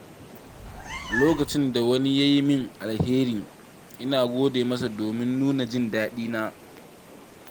Lokacin da wani ya yi mini alheri, ina gode masa domin nuna jin daɗina.